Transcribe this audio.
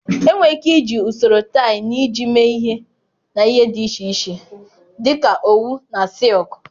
Enwere ike iji usoro tie na ịji mee ihe na ihe dị iche iche dị ka owu na sịịlkụ.